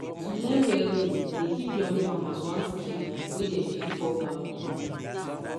to learn welding dey give young farmers one skill wey dem fit fall back on.